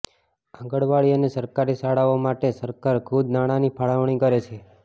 આંગણવાડી અને સરકારી શાળાઓ માટે સરકાર ખુદ નાણાંની ફાળવણી કરે છે